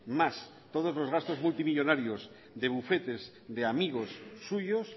más todos los gastos multimillónarios de bufetes de amigos suyos